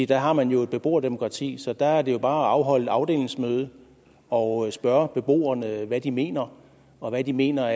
der har man jo et beboerdemokrati så der er det jo bare at afholde et afdelingsmøde og spørge beboerne hvad de mener og hvad de mener